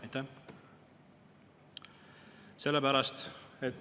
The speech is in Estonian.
Aitäh!